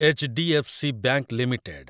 H D F C bank limited